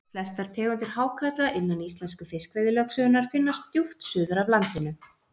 flestar tegundir hákarla innan íslensku fiskveiðilögsögunnar finnast djúpt suður af landinu